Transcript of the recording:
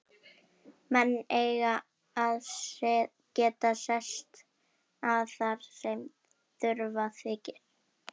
Menn eiga að geta sest að þar sem þurfa þykir.